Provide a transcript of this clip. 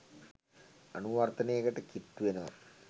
අනුවර්තනයකට කිට්ටු වෙනවා.